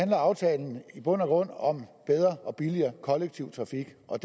at aftalen i bund og grund handler om bedre og billigere kollektiv trafik og